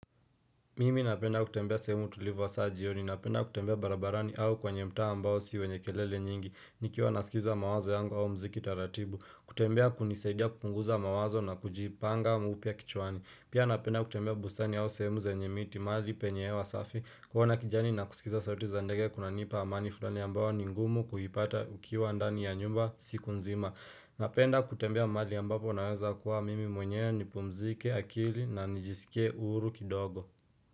Mimi napenda kutembea sehemu tulivu hasa jioni, napenda kutembea barabarani au kwenye mtaa ambao si wenye kelele nyingi, nikiwa nasikiza mawazo yangu au mziki taratibu, kutembea hunisaidia kupunguza mawazo na kujipanga mpya kichwani, pia napenda kutembea bustani au sehemu zenye miti, mahali penye hewa safi, kuona kijani na kusikiza sauti za ndege kunanipa amani fulani ambayo ni ngumu kuipata ukiwa ndani ya nyumba siku nzima, napenda kutembea mahali ambapo naweza kuwa mimi mwenyewe nipumzike akili na nijisikie uhuru kidogo.